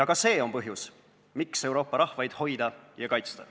Ka see on põhjus, miks Euroopa rahvaid hoida ja kaitsta.